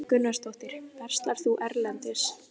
Erla Björg Gunnarsdóttir: Verslar þú erlendis?